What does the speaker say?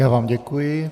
Já vám děkuji.